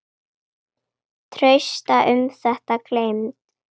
Trausta um þetta gleymd.